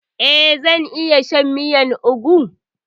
Eh, na iya shan miyar ugwu.